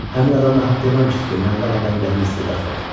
Həmin adam nahaq deməmişdi ki, məndə anadan gəlmə istedad var.